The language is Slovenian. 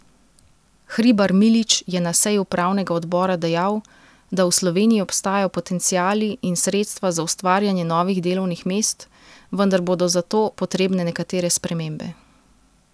Hribar Milič je na seji upravnega obora dejal, da v Sloveniji obstajajo potenciali in sredstva za ustvarjanje novih delovnih mest, vendar bodo za to potrebne nekatere spremembe.